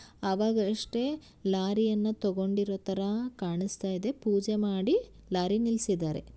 ಅವಾಗಷ್ಟೇ ಲಾರಿಯನ್ನು ತಗೊಂಡಿರೋ ತರ ಕಾಣಸ್ತಾಯಿದೆ ಪೂಜೆ ಮಾಡಿ ಲಾರಿ ನಿಲ್ಸಿದ್ದಾರೆ.